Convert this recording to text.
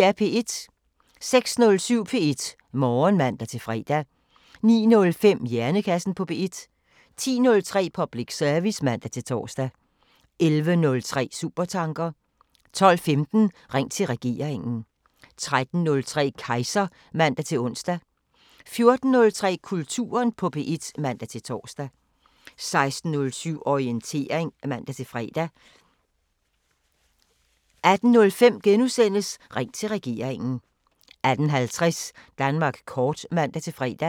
06:07: P1 Morgen (man-fre) 09:05: Hjernekassen på P1 10:03: Public service (man-tor) 11:03: Supertanker 12:15: Ring til regeringen 13:03: Kejser (man-ons) 14:03: Kulturen på P1 (man-tor) 16:07: Orientering (man-fre) 18:05: Ring til regeringen * 18:50: Danmark kort (man-fre)